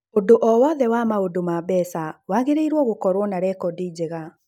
ũndũ o wothe wa maũndu ma mbeca wagĩrĩirũo gũkorũo na rekondi njega.